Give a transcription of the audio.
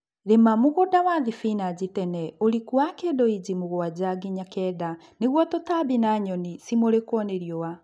Rĩma mũgunda wa thibinachi tene ũriku wa kĩndũ inji mũgwanja nginya kenda nĩguo tũtambi na nyoni cimũrikwo ni riũa